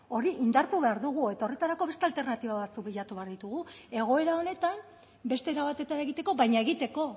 hori indartu behar dugu eta horretarako beste alternatiba batzuk bilatu behar ditugu egoera honetan beste era batetara egiteko baina egiteko